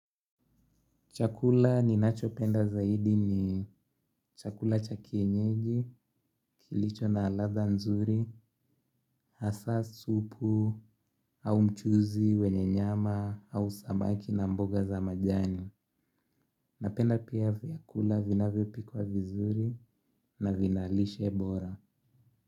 Chakula ninachopenda zaidi ni chakula cha kienyeji, kilicho na ladha nzuri, hasa, supu, au mchuuzi, wenye nyama, au samaki na mboga za majani. Napenda pia vyakula vinavyopikwa vizuri na vina lishe bora.